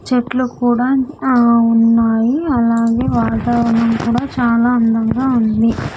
చెట్లు కూడా ఆ ఉన్నాయి అలాగే వాతావరణం కూడా చాలా అందంగా ఉంది.